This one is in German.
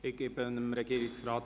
Ich gebe Herrn Regierungsrat